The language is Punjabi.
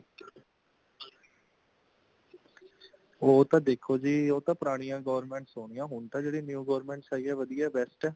ਉਹ ਤਾ ਦੇਖੋ ਜੀ, ਓਹ ਤਾਂ ਪੁਰਾਣੀਆਂ government ਹੋਣੀਆਂ |ਹੋਣ ਤਾਂ ਜੇੜੀਆਂ new government ਆਈਆਂ ,ਵਦੀਆਂ best ਹੇ